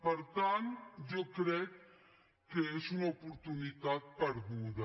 per tant jo crec que és una oportunitat perduda